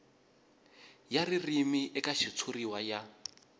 ya ririmi eka xitshuriwa ya